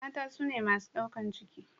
mata sune masu daukar ciki